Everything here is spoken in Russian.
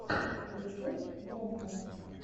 рецепт громко